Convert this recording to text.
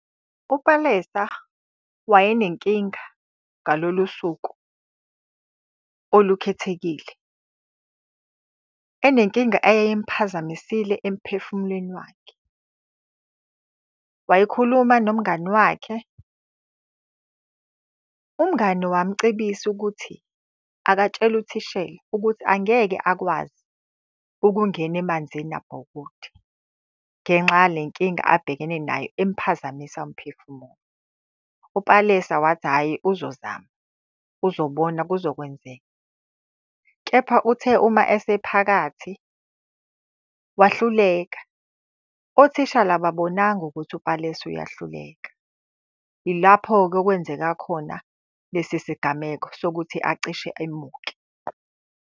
UPalesa wayenenkinga ngalolu suku olukhethekile. Enenkinga eyayimuphazamisile emphefumulweni wakhe. Wayikhuluma nomngani wakhe, umngani wamucebisa ukuthi akatshele uthishela ukuthi angeke akwazi ukungena emanzini abhukude ngenxa yale nkinga abhekene nayo emuphazamisa umphefumulo. UPalesa wathi, hhayi uzozama uzobona kuzokwenzeka. Kepha uthe uma esephakathi, wahluleka, othishala, ababonanga ukuthi uPalesa uyahluleka. Ilapho-ke okwenzeka khona lesi sigameko sokuthi acishe emuke.